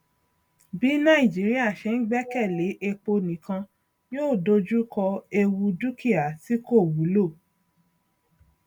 bí nàìjíríà ṣe ń gbẹkèlé epo nìkan yóò dojú kọ ewu dúkíá tí kò wúlò